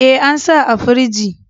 E, an sa a firji.